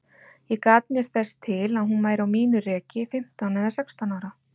Ég gat mér þess til að hún væri á mínu reki, fimmtán eða sextán ára.